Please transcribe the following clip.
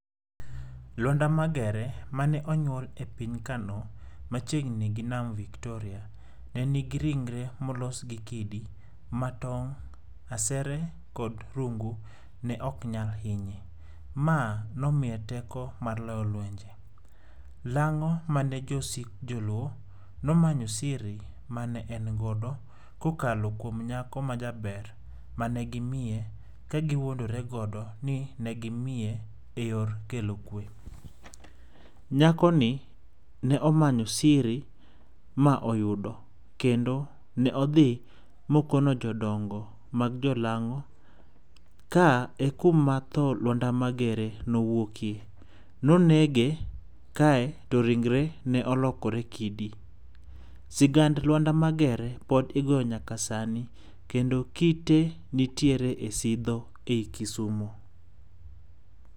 Lwanda Magere mane onyuol e piny Kano machiegni gi nam Victoria ne nigi ringre molos gi kidi. Ma tong', asere kod rungu ne ok nyal hinye. Ma nom iye teko mar loyo lwenje. Lang'o mane josik joluo nomanyo siri mane en godo kokalo kuom nyako majaber mane gimiye ka giwuondore godo ni ne gimiye eyor kelo kwe. Nyakoni ne omanyo siri ma oyudo, kendo ne odhi ma okono jodongo mag jolang'o. Ka ekuma tho Lwanda Magere nowuokie. Ne onege kae to ringre ne olokore kidi. Sigand Lwanda Magere pod igoyo nyaka sani. Kendo kite nitiere ei Sidho ei Kisumo.